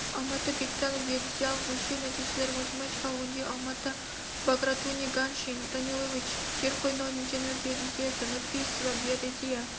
алматы бектанов геодезиялық өлшеу нәтижелерін математикалық өңдеу алматы багратуни ганьшин данилович жер қойнауының инженерлік геодезиясы нұрпейсова геодезия